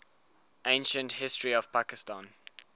ancient history of pakistan